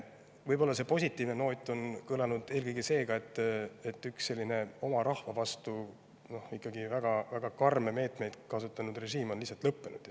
Võib-olla see kõlanud positiivne noot on eelkõige see, et üks oma rahva vastu ikkagi väga-väga karme meetmeid kasutanud režiim on lihtsalt lõppenud.